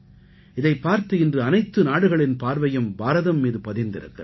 இதைப் பார்த்து இன்று அனைத்து நாடுகளின் பார்வையும் பாரதம் மீது பதிந்திருக்கிறது